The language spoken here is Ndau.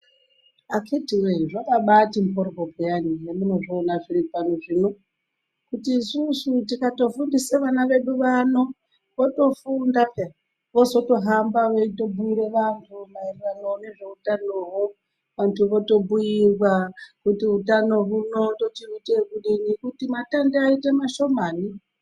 Akhiti woye zvakabaati mhoryo payani zvamunozviona zviri pano zvino kuti isusu tikafundise ana edu vano otofunda peya ozotohamba veibhuire antu maererano nezveutano Hwo antu votobhuirwa kuti utano huno tochiite ekudini kuti matenda aite mashomani.